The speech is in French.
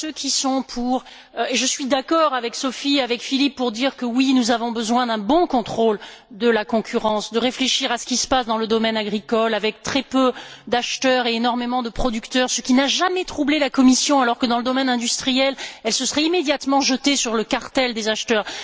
Sans doute, je suis d'accord avec Sophie et Philippe pour dire que nous avons besoin d'un bon contrôle de la concurrence, de réfléchir à ce qu'il se passe dans le domaine agricole, avec très peu d'acheteurs et énormément de producteurs, ce qui n'a jamais troublé la Commission, alors que dans le domaine industriel elle se serait immédiatement jetée sur le cartel des acheteurs.